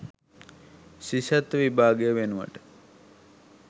ශිෂ්‍යත්ව විභාගය වෙනුවට